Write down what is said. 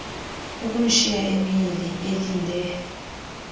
ukumshiya emile elinde